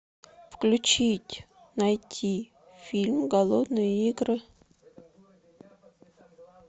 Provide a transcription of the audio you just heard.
включить найти фильм голодные игры